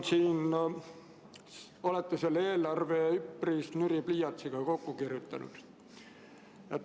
Minu arvates olete selle eelarve üpris nüri pliiatsiga kokku kirjutanud.